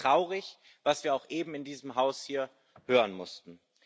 Es ist traurig, was wir auch eben in diesem Haus hier hören mussten.